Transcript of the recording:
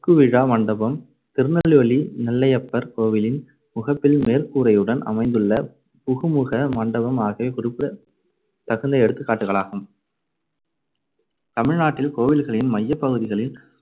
~ ற்குவிழா மண்டபம், திருநெல்வேலி நெல்லையப்பர் கோவிலின் முகப்பில் மேற்கூரையுடன் அமைந்துள்ள புகுமுக மண்டபம் ஆகியவை குறிப்பிடத்தகுந்த எடுத்துக்காட்டுகளாகும் தமிழ்நாட்டில் கோவில்களின் மையப்பகுதிகளில்